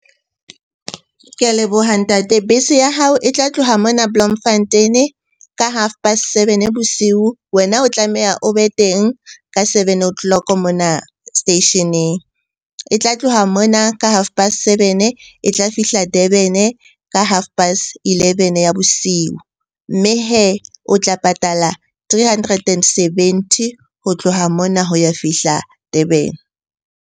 Ke a leboha ntate. Bese ya hao e tla tloha mona Bloemfontein-e ka half past seven bosiu. Wena o tlameha o be teng ka seven o' clock mona station-eng. E tla tloha mona ka half past seven-e, e tla fihla Durban-e ka half past eleven ya bosiu. Mme hee o tla patala three hundred and seventy ho tloha mona ho ya fihla Durban-e.